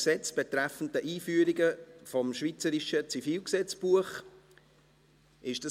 Gesetz betreffend die Einführung des Schweizerischen Zivilgesetzbuches vom 28.05.1911 (EG ZGB), Stand 01.01.2019 /